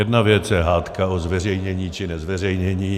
Jedna věc je hádka o zveřejnění, či nezveřejnění.